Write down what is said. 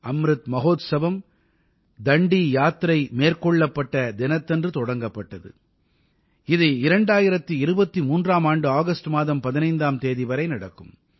அம்ருத் மஹோத்சவம் தண்டி யாத்திரை மேற்கொள்ளப்பட்ட தினத்தன்று தொடங்கப்பட்டது இது 2023ஆம் ஆண்டு ஆகஸ்ட் மாதம் 15ஆம் தேதி வரை நடக்கும்